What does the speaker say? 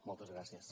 moltes gràcies